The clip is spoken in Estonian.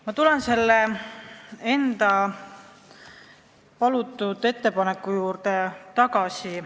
Ma tulen oma tehtud ettepaneku juurde tagasi.